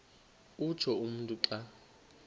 utsho umntu xa